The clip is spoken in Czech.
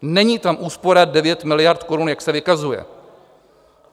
Není tam úspora 9 miliard korun, jak se vykazuje.